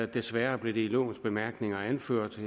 desværre blev det i lovens bemærkninger anført at